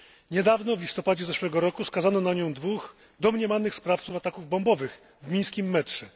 Niedawno w listopadzie ubiegłego roku skazano na nią dwóch domniemanych sprawców ataków bombowych w mińskim metrze.